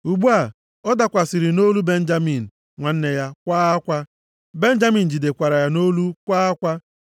Ugbu a, ọ dakwasịrị nʼolu Benjamin, nwanne ya, kwaa akwa. Benjamin jidekwara ya nʼolu kwaa akwa.